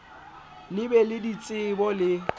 le be le ditsebo le